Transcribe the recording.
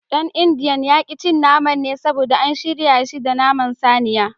Dan indiyan ya ki cin naman ne saboda an shirya shi da naman saniya.